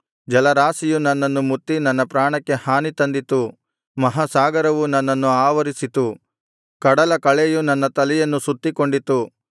ಜಲರಾಶಿಯು ನನ್ನನ್ನು ಮುತ್ತಿ ನನ್ನ ಪ್ರಾಣಕ್ಕೆ ಹಾನಿ ತಂದಿತು ಮಹಾಸಾಗರವು ನನ್ನನ್ನು ಆವರಿಸಿತು ಕಡಲಕಳೆಯು ನನ್ನ ತಲೆಯನ್ನು ಸುತ್ತಿಕೊಂಡಿತು